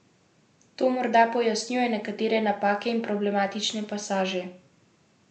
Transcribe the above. To morda pojasnjuje nekatere napake in problematične pasaže.